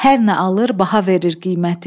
Hər nə alır baha verir qiyməti.